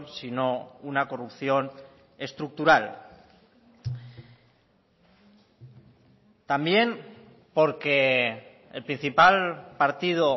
sino una corrupción estructural también porque el principal partido